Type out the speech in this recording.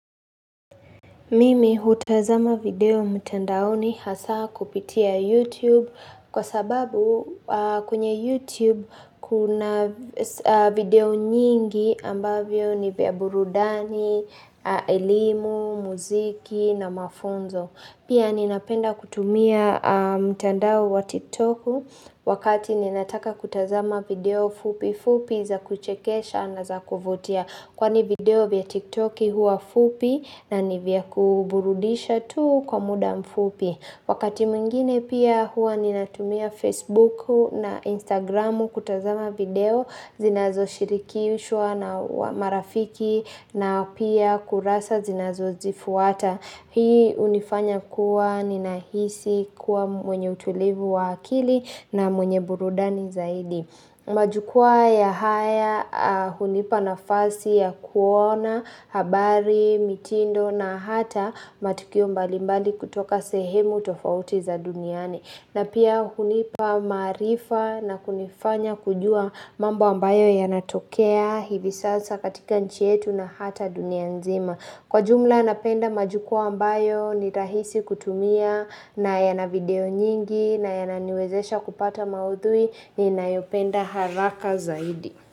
Mimi hutazama video mtandaoni hasa kupitia YouTube, kwa sababu, a kwenye YouTube, kuna v s a video nyingi ambavyo ni vya burudani, a elimu, muziki na mafunzo. Pia ninapenda kutumia a mtandao wa tiktoku wakati ninataka kutazama video fupi fupi za kuchekesha na za kuvutia. Kwani video vya tiktoki huwa fupi na nivya ku burudisha tu kwa muda mfupi. Wakati mwengine pia huwa ninatumia facebuku na instagramu kutazama video zinazo shiriki ushoa nao wa marafiki na pia kurasa zinazo zifuata. Hii unifanya kuwa ninahisi kuwa m mwenye utulivu wa akili, na mwenye burudani zaidi. Majukwaa ya haya, a hunipa nafasi ya kuona, habari, mitindo na hata matukio mbali mbali kutoka sehemu tofauti za duniani. Na pia hunipa maarifa na kunifanya kujua mambo ambayo yanatokea hivi sasa katika nchi yetu na hata dunia nzima. Kwa jumla napenda majukwaa ambayo nitahisi kutumia na yana video nyingi na yananiwezesha kupata maudhui ninayopenda haraka zaidi.